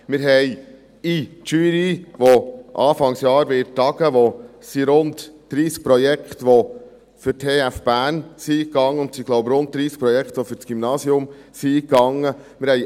Wir haben in der Jury, die anfangs Jahr tagen wird, die … Es sind rund 30 Projekte, die für die TF Bern eingegangen sind, und es sind, glaube ich, rund 30 Projekte, die für das Gymnasium eingegangen sind.